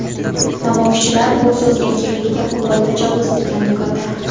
Namoyishchilar bu so‘z erkinligiga qo‘pol tajovuz degan fikrda.